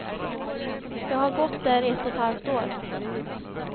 Jag har gått där ett och ett halvt år.